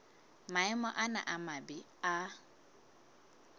maemo ana a mabe a